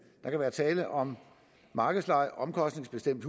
der kan være tale om markedsleje omkostningsbestemt